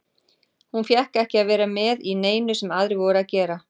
Hún fékk ekki að vera með í neinu sem aðrir voru að gera.